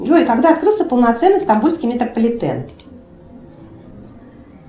джой когда открылся полноценный стамбульский метрополитен